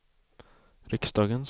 riksdagens